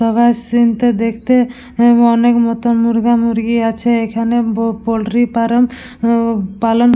তবে এই সীন -তে দেখতে অনেক মত মুরগা মুরগি আছে। এখানে ব পোল্ট্রি ফার্ম হুম পালন--